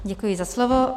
Děkuji za slovo.